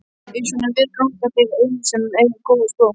Um svona veg ganga þeir einir sem eiga góða skó.